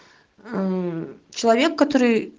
амм человек который